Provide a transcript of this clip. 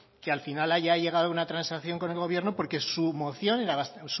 que al final haya llegado a una transacción con el gobierno porque